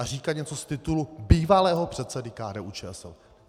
A říkat něco z titulu bývalého předsedy KDU-ČSL.